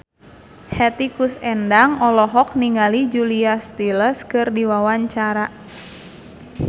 Hetty Koes Endang olohok ningali Julia Stiles keur diwawancara